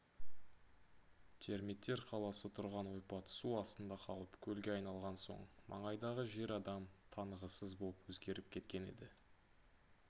термиттер қаласы тұрған ойпат су астында қалып көлге айналған соң маңайдағы жер адам танығысыз боп өзгеріп кеткен еді